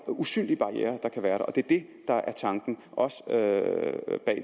usynlige barrierer der kan være det er det der er tanken også bag